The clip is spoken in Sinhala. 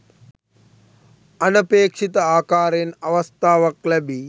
අනපේක්ෂිත ආකාරයෙන් අවස්ථාවක් ලැබී